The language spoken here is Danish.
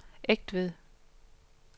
Egtved